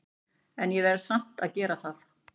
En ég verð samt að gera það.